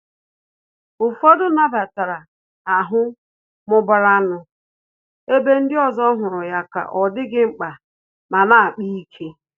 Ụfọdụ nabatara ahụ mụbara nụ, ebe ndị ọzọ hụrụ ya ka ọ dịghị mkpa ma na-akpa ike